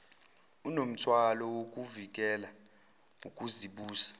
unomthwalo wokuvikela ukuzibusa